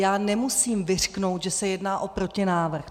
Já nemusím vyřknout, že se jedná o protinávrh.